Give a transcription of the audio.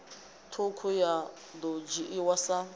ṱhukhu ya ḓo dzhiiwa sa